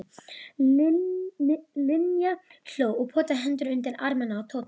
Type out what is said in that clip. Linja hló og potaði hendinni undir arminn á Tóta.